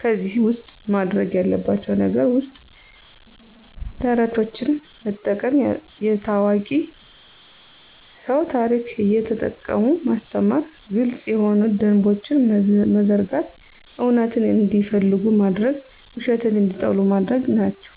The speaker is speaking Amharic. ከዚህ ውስጥ ማድርግ ያለባቸው ነገር ውስጥ ተረቶችን መጠቀም፣ የታዋቂ ስው ታርክ እየተጠቀሙ ማስተማር፣ ግልጽ የሆኑ ደንቦችን መዘርጋት፣ እውነትን እንዲፈልጉ ማድርግ ውሸትን እንዲጠሉ ማድርግ ናቸው።